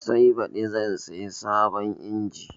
Sai baɗi zan siya sabon injin